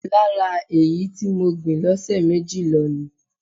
Lára èyí tí mo gbìn lọ́sẹ̀ méjì lọ ni.